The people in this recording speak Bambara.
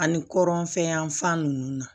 Ani kɔrɔnfɛn yanfan nunnu